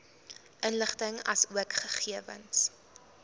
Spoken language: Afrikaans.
inligting asook gegewens